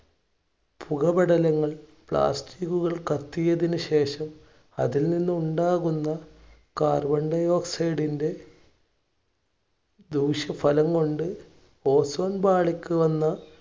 പുക പടലങ്ങൾ plastic ഉകൾ കത്തിയതിനു ശേഷം അതിൽനിന്ന് ഉണ്ടാകുന്ന carbon dioxid ഇന്‍റെ ദൂഷ്യഫലം കൊണ്ട് ozone പാളിക്ക് വന്ന